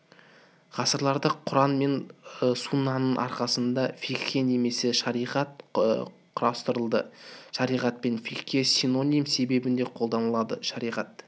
ғасырларда құран мен суннаның арқасында фикха немесе шариғат құрастырылды шариғат пен фикха синоним есебінде қолданылады шариғат